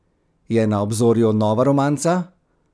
Je na obzorju nova romanca?